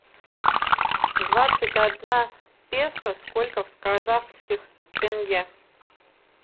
двадцать одна песо сколько в казахских тенге